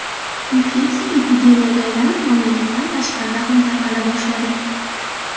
Infeksiya epidemiyaga aylanib, mamlakatdan tashqarida ham tarqala boshladi.